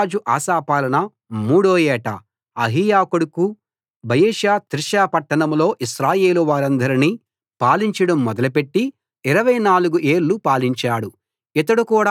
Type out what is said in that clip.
యూదారాజు Asa పాలన మూడో ఏట అహీయా కొడుకు బయెషా తిర్సా పట్టణంలో ఇశ్రాయేలు వారందరినీ పాలించడం మొదలుపెట్టి 24 ఏళ్ళు పాలించాడు